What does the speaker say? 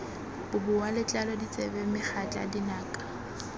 boboa letlalo ditsebe megatla dinaka